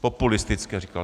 Populistické říkal.